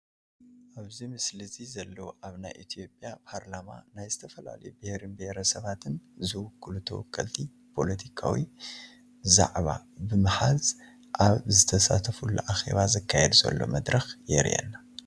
ኣብዚ ምስሊ እዚ ዘለው ኣብ ናይ ኢ/ያ ፓርላማ ናይ ዝተፈላለዩ ብሄርን ብሄረሰባትን ዝውክሉ ተወከልቲ ፓለቲካዊ ዛዕባ ብምሓዝ ኣብ ዝተሳተፍሉ ኣኼባ ዝካየድ ዘሎ መድረኽ የሪኤና፡፡